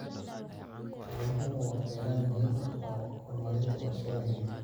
Xooluhu waa kheyraad muhiim u ah horumarinta warshadaha hilibka.